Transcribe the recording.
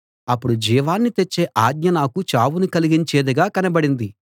అప్పుడు జీవాన్ని తెచ్చే ఆజ్ఞ నాకు చావును కలిగించేదిగా కనబడింది